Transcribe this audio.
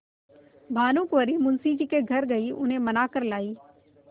भानुकुँवरि मुंशी जी के घर गयी उन्हें मना कर लायीं